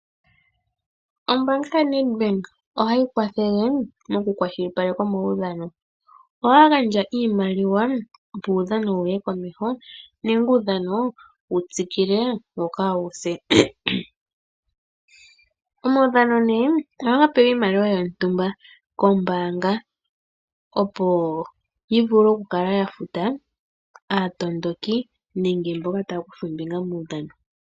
Ombaanga yaNEdbank ohayi kwathele okukwashilipaleka omaudhano, ohaya gandja iimaliwa, opo uudhano wu ye komeho nenge uudhano wu tsikile wo kaawu se. Omaudhano ohaga pewa iimaliwa yontumba kombaanga, opo yi vule okukala yafuta aatondoki nenge mboka taya kutha ombinga momaudhano.